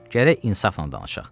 Gərək insafla danışaq.